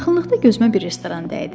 Yaxınlıqda gözümə bir restoran dəydi.